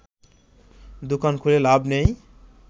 দোকান খুলে লাভ নেই